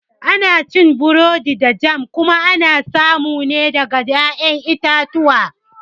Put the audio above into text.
Ana cin burodi da jam kuma ana samu ne daga ƴaƴan itatuwa